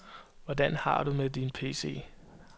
Hvordan har du det med din pc?